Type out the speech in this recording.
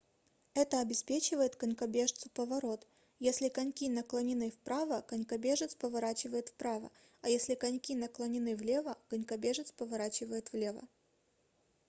это обеспечивает конькобежцу поворот если коньки наклонены вправо конькобежец поворачивает вправо а если коньки наклонены влево конькобежец поворачивает влево